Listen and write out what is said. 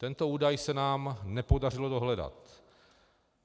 Tento údaj se nám nepodařilo dohledat.